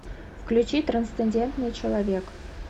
включи трансцендентный человек